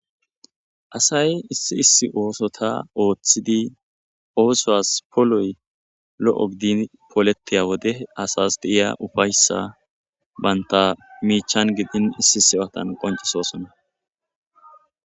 asay issi issi ooso ta ooththidi oosoas poloy lo7o gidin pooletiya wode asas deiya ufayssa baynta miichan gidin issi sewatan qoncisosona